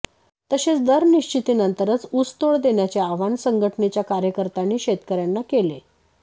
तसेच दर निश्चितीनंतरच ऊसतोड देण्याचे आवाहन संघटनेच्या कार्यकर्त्यांनी शेतकऱयांना केले